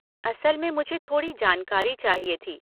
असल में मुझे थोड़ी जानकारी चाहिए थी।